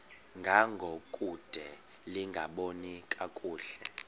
ngangokude lingaboni kakuhle